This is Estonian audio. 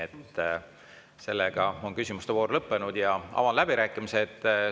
Aga nüüd on küsimuste voor lõppenud ja avan läbirääkimised.